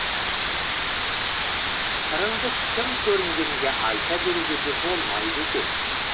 сырыңды кім көрінгенге айта беруге де болмайды екен